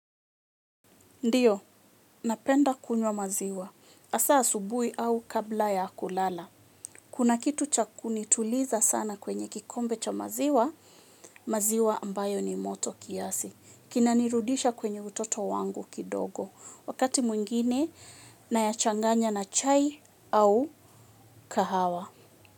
Ndiyo, napenda kunywa maziwa. Hasa asubuhi au kabla ya kulala. Kuna kitu cha kunituliza sana kwenye kikombe cha maziwa, maziwa ambayo ni moto kiasi. Kinanirudisha kwenye utoto wangu kidogo. Wakati mwingine, nayachanganya na chai au kahawa.